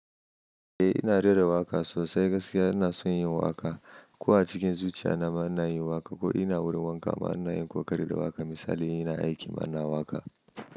Eh ina rera waƙa sosai, gaskiya ina son yin waƙa. Ko a cikin zuciya na ma ina yin waƙa ko ina wurin wanka ma ina yin kokari da waƙa. Misali ina aiki ma ina waƙa.